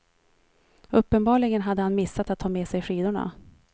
Uppenbarligen hade han missat att ta med sig skidorna.